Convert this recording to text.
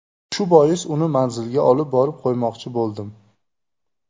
Shu bois uni manziliga olib borib qo‘ymoqchi bo‘ldim.